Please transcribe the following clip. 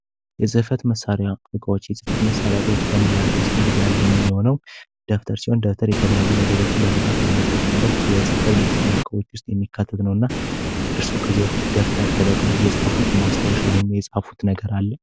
የፅህፈት መሳሪያዎች የፅህፈት መሳሪያዎች ከምንላቸው ውስጥ አንደኛው የሆነው ደብተር ሲሆን ደብተር የተለያዩ ነገሮች ለመፃፍ የምንጠቀምበት የፅህፈት መሳሪያዎች ውስጥ የሚካተት ነው። እርስዎ ከዚህ በፊት ደብተር ተጠቅመው የፃፉት ማስታወሻ ወይም ነገር አለ?